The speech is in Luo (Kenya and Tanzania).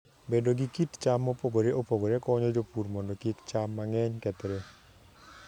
Bedo gi kit cham mopogore opogore konyo jopur mondo kik cham mang'eny kethre.